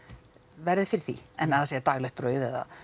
verði fyrir því en að það sé daglegt brauð eða